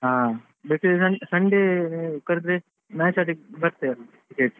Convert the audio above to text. ಹಾ ಬೇಕಂದ್ರೆ Sunday ಕರ್ದ್ರೆ match ಆಡ್ಲಿಕ್ಕೆ ಬರ್ತೀರಲ್ವಾ cricket .